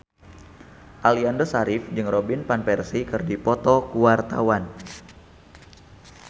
Aliando Syarif jeung Robin Van Persie keur dipoto ku wartawan